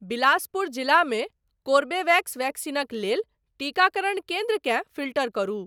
बिलासपुर जिलामे कोरबेवेक्स वैक्सीनक लेल टीकाकरण केन्द्रकेँ फ़िल्टर करु।